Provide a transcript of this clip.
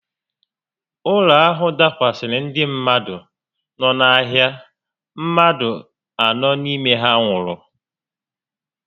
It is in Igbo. Ụlọ ahụ dakwasara ndị mmadụ no n'ahịa, mmadụ anọ n'ime ha nwụrụ